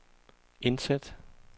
indsæt